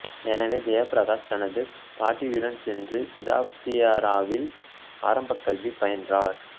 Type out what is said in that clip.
எனவே ஜெயப்பிரகாஷ் தனது பாட்டியுடன் சென்று சிதாப்தியராவில் ஆரம்பக்கல்வி பயின்றார்